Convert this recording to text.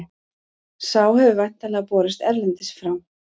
Sá hefur væntanlega borist erlendis frá.